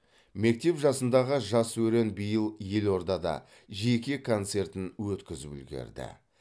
мектеп жасындағы жас өрен биыл елордада жеке концертін өткізіп үлгерді